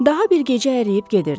Daha bir gecə əriyib gedirdi.